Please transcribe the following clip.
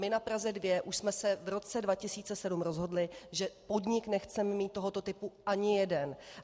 My na Praze 2 už jsme se v roce 2007 rozhodli, že podnik nechceme mít tohoto typu ani jeden.